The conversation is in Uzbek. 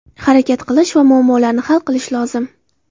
Harakat qilish va muammolarni hal qilish lozim.